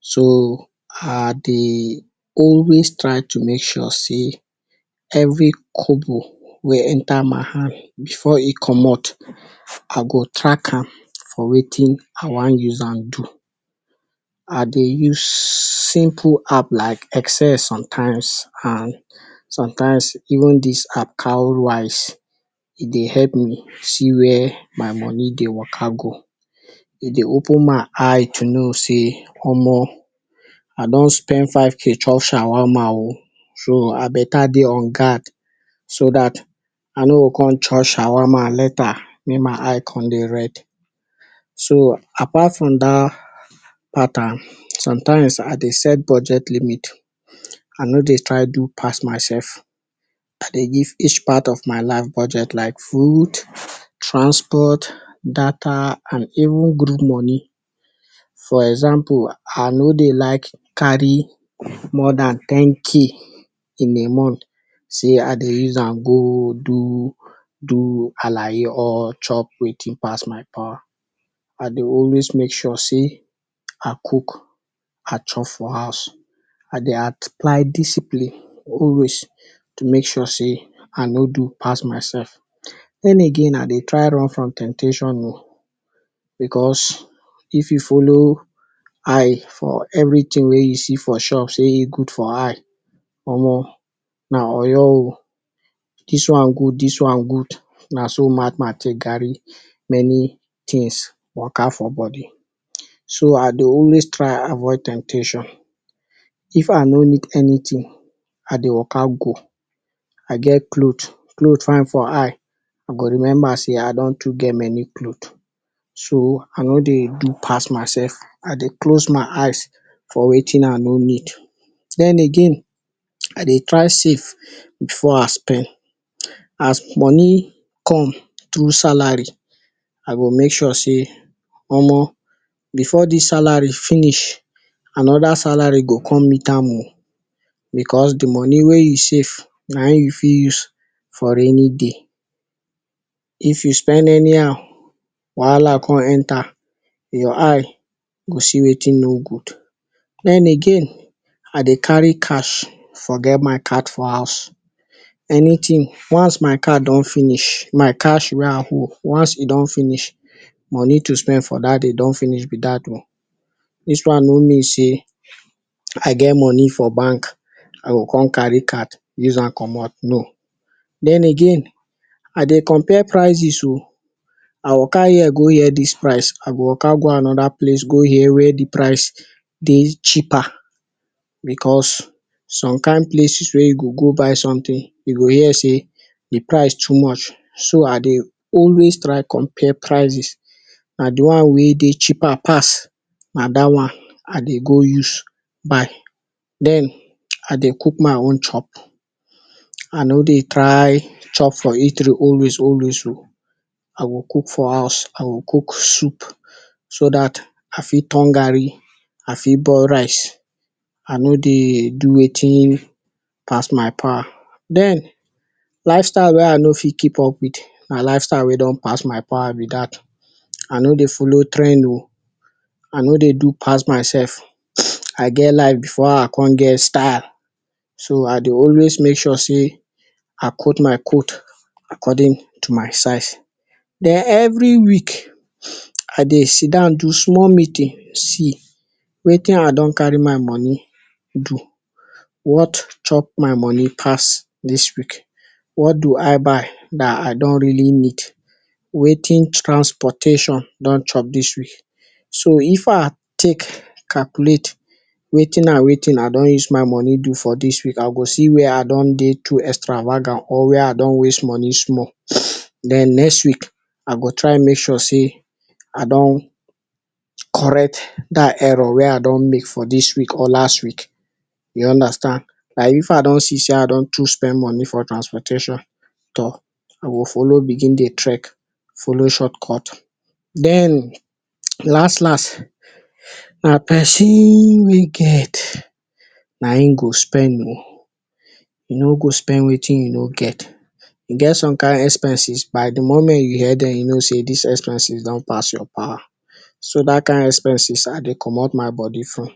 So I dey always try to make sure sey every kobo wey enter my hand before e commot I go track am for watin I wan use am do, I dey use simple app like excel sometimes and sometimes even dis app Cowerywise e dey help me see wia my money dey waka go, e dey open my eyes sey omo I don spend five k chop shawarma o so I beta dey on guard so dat I no go come chop shawarma later make my eye come dey red. So apart from dat pattern sometimes I dey set budget limit I no dey try do pass myself I dey give each part of my life budget like food, transport, data and even groove moni for example I no dey like carry more dan ten k in a month sey I dey use am go do do alaye or chop watin pass my power, I dey always make sure sey I cook, I chop for house I dey apply discipline always to make sure sey I no do pass myself. Den again I dey try run from temptation room because if you follow eye for everytin wey you see for shop sey e good for eye omo na oyo o dis one good dis one good na so mad man take carry many tins waka for body so I dey always try avoid temptation. If I no need anyttin I dey waka go, I get cloth cloth fine for eye I go remember sey I dontoo get may cloth so I no dey do pass myself I dey close my eyes for watin I no need den again I dey try safe before I spend. As moni come through salary I go make sure sey omo before dis salary finish, another salary go come meet am o because di moni wey you safe na him you fit use for rainy day, if you spend anyhow wahala come enter your eyes go see watin no good den again I dey carry cash forget my card for house anytin once my cash don finsh money to spend for dat day don finish be dat o dis one no mean sey I get moni for bank I go come carry card use am commot moni no. den again I dey compare prices o I go carry ear go hear dis price I go waka go anoda place go hear wia di price dey cheaper because some kain places wey you go go buy sometin you go hear sey di price too much so I dey alyas try compare prices, na di one wey dey cheaper pass na dat one I dey go use buy den I dey cook my own chop I no dey try eat for eatry always o I go cook for house, I go cook soup so dati fit turn garri I fit boil rice I no dey do watin pass my power den lifestyle wey I no fit keep up wit na lifestyle wey don pass my power be dat, I no dey follow trend o, I no dey do pass myself. I get life before I come get style so I dey always make sure sey I cut my coat according to my size den every week I dey sidon do small meeting see watin I don carry my moni do, wat chop my moni pass dis week what do I buy dat I don’t really need, watin transportation don chop dis week. So if I take calculate watin and watin I don use my moni do for dis week I go see wia I don dey too extravagant or wia I don waste moni small den next week I go try make sure sey I don correct dat error wey I don make for dis week or last week, you understand like if I don see sey I don too spend moni for transportation toor I go follow begin dey trek follow short cut den last last na pesin wicked na him go spend more, you no go spend watin you no get, e get some kain expenses ba di moment you hear dem you know sey dis expenses don pass your power so dat kain expenses I dey commot my body from.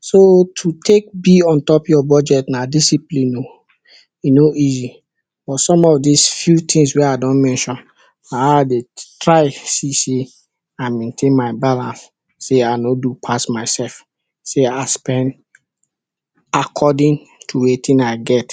So to take be on top your budget na discipline o e no easy but some of dis few tins wey I don mention na him I dey try see sey I mentain my balance sey I no do pass myself sey I spend according to watin I get.